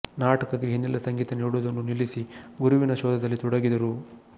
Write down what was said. ನಾಟಕಕ್ಕೆ ಹಿನ್ನಲೆ ಸಂಗೀತ ನೀಡುವುದನ್ನು ನಿಲ್ಲಿಸಿ ಗುರುವಿನ ಶೋಧದಲ್ಲಿ ತೊಡಗಿದರು